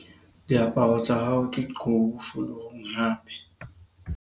diaparo tsa hao ke qubu fulurung hape